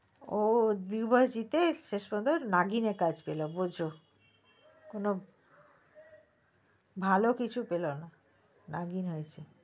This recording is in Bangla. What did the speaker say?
ও দুবার জিতে এসেছে শুধু নাগিনে কাজ পেলো বোজো কোনো ভালো কিছু পেলো না নাগিনে হয়েছে